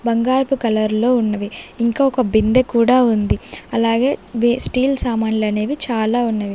బంగారపు కలర్లో ఉన్నవి ఇంకా ఒక బిందె కూడా ఉంది అలాగే వే స్టీల్ సమాన్లనేవి చాలా ఉన్నవి.